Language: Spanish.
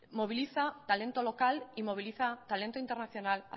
moviliza talento local y moviliza talento internacional